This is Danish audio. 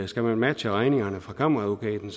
skal man matche regningerne fra kammeradvokaten